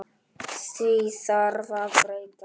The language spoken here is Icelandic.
Því þarf að breyta!